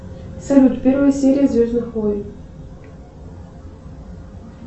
салют первая серия звездных войн